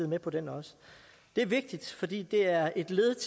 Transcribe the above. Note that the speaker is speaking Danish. med på den også det er vigtigt fordi det er et led